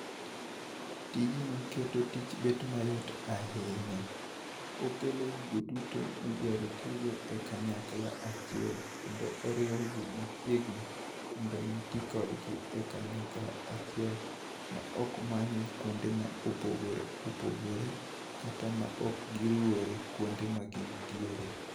Tijni keto tich bedo mayot ahinya. Okelo gigo duto midwaro tigo kanyakla achiel kendo oriwo gi mchiegni modno mi tii kodgi e kanyakla achiel, ma ok manye kuonde mopogore opogore kata ma ok giruwore kuonde ma gintiere.